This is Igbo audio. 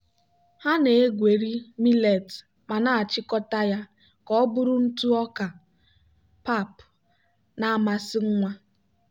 ha na-egweri millet ma na-achịkọta ya ka ọ bụrụ ntụ ọka pap na-amasị nwa.